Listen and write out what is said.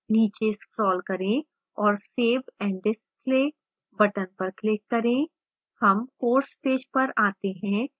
नीचे scroll करें और save and display button पर click करें